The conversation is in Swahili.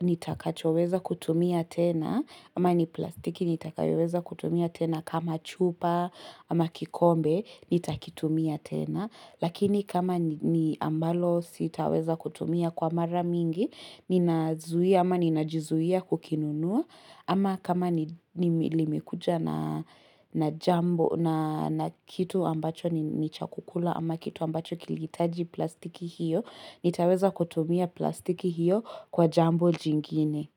nitakachoweza kutumia tena ama ni plastiki nitakoweza kutumia tena kama chupa ama kikombe nitakitumia tena. Lakini kama ni ambalo sitaweza kutumia kwa mara mingi ninazuia ama ninajizuia kukinunua Ama kama ni limekuja na jambo na kitu ambacho ni cha kukula ama kitu ambacho kilihitaji plastiki hiyo nitaweza kutumia plastiki hiyo kwa jambo jingine.